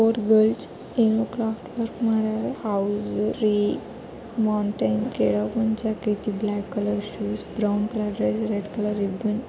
Four girls ಏನ್ craft work ಮಾಡ್ಯಾರ. House tree mountain ಕೆಳಗ್ ಮುಂಚೆ black colour shoes brown colour red colour --